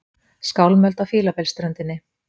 Skálmöld á Fílabeinsströndinni